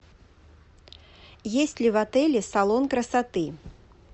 есть ли в отеле салон красоты